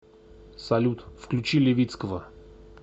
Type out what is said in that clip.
салют включи левицкого